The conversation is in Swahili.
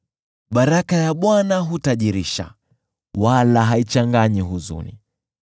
Baraka ya Bwana hutajirisha, wala haichanganyi huzuni.